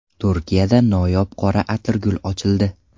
Turkiyada noyob qora atirgul ochildi .